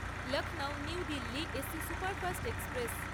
Lucknow New Delhi AC superfast express